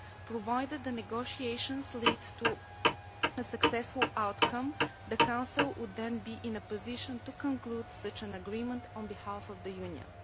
Provided the negotiations lead to a successful outcome, the Council would then be in a position to conclude such an agreement on behalf of the Union.